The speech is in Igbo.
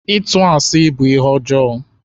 Ịtụ asi bu ihe ọjọọ.